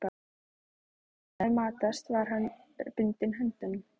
Þegar hann hafði matast var hann bundinn á höndunum.